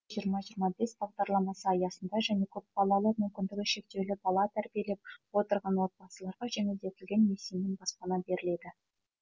жиырма жиырма бес бағдарламасы аясында және көпбалалы мүмкіндігі шектеулі бала тәрбиелеп отырған отбасыларға жеңілдетілген несиемен баспана беріледі